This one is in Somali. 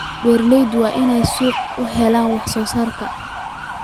Beeraleydu waa inay suuqyo u helaan wax soo saarka.